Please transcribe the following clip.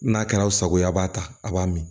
N'a kɛra aw sago ye a b'a ta a b'a min